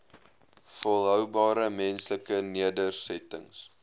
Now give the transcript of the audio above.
volhoubare menslike nedersettings